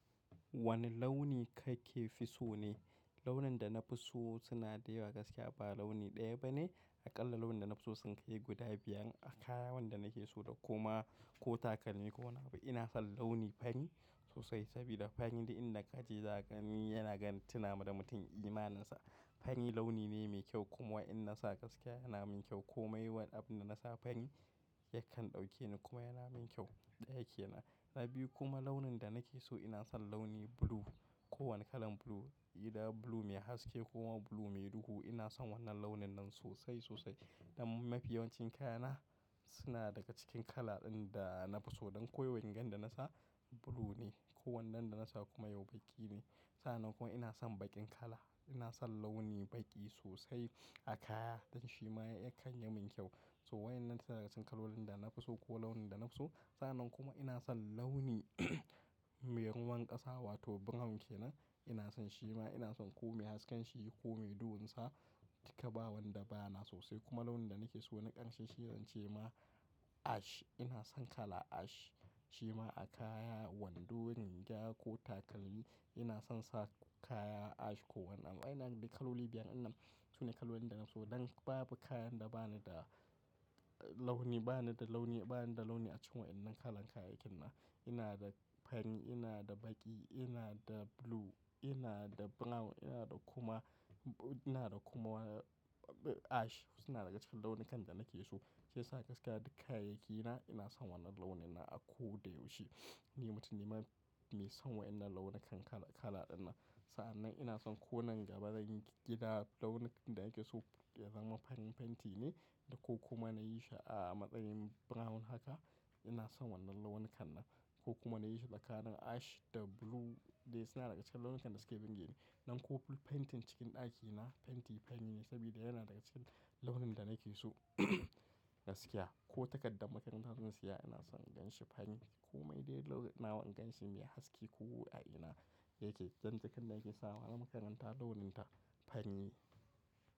Wane launi kake fi so ne? Launin da na fi so suna da yawa gaskiya ba launi ɗaya ba ne. Aƙalla launi da na fi so sun kai guda biyan. A kaya wanda na ke so da kuma ko takalmi ko wane abu. Ina son launi fani sosai sabida fani idan na kaje zagani yana gan tina ma da mutum imaninsa. Fani launi ne mai kyau kuma in na sa gaskiya yana min kyau. Ko mai wani abu na na sa fani yakan ɗauke ni kuma yana min kyau ɗaya ke nan. Na biyu kuma launin da na ke so ina son launi blue. Ko wane kalan blue. Idan blue mai haske ko kuma blue mai duhu ina son wannan launin nan sosai sosai. Don mafi yawancin kayana suna daga cikin kala ɗin da na fi so. Don ko yau rigan da nasa blue ne. Ko wannan da na sa kuma yau baƙi ne. Sa'an nan kuma ina son baƙin kala. Ina son launi baƙi sosai a kaya. Dan shi ma ya kan yamin kyau. So waenan suna daga cikin kalolin da na fi so ko launi da na fi so. Sa'an nan kuma ina son launi mai ruwan ƙasa wato brown kenan. Ina son shi ma ina son ko mai hasken shi ko mai duhun sa duka ba wanda ba yana sosai. Kuma launin da na ke so na ƙarshe shi zan ce ma ash. Ina son kala ash. Shi ma a kaya, wando, ginga ko takalmi ina son sa kaya ash ko wannan. Ina da kaloli biyan. Wannan sune kalolin da na so. Don babu kayan da ba ni da launin, ba ni da launi, ba ni da launi a ciki waenan kala kayakinan. Ina da fari, ina da baƙi, ina da blue, ina da brown, ina da kuma, ina da kuma ash suna daga cikin launukan da na ke so. Shi yasa gaskiya dukkan kayaki na ina son wannan launin nan a ko da yaushe. Ni mutum ne mai son wa'innan launi kan kala kala ɗin nan. Sa'an nan ina son ko nan gaba zan gida launi da ake so ya zama fari fenti ne da ko kuma na yi shi a matsayin brown haka ina son wannan launin kan nan. Ko kuma na yi shi daka ash da blue dai suna daga cikin launukan da suke binge ni. Don ko full fentin cikin ɗakina fenti fari ne sabida yana daga cikin launin da na ke so gaskiya. Ko takardar makaranta zan siya ina son in ganshi fari. Ko mai dai launawa in ganshi mai haske ko a ina yake. Jan cikin da yake sawa na makaranta launin ta fari ne.